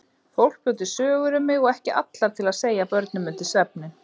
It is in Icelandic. Fólk bjó til sögur um mig og ekki allar til að segja börnum undir svefninn.